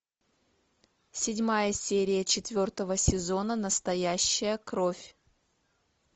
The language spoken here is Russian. седьмая серия четвертого сезона настоящая кровь